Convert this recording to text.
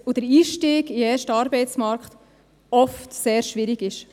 Der Einzug in den ersten Arbeitsmarkt ist oft sehr schwierig.